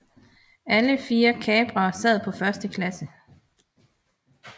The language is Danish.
Alle fire kaprere sad på første klasse